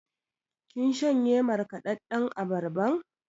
Kin shanye markaɗaɗɗan abarban?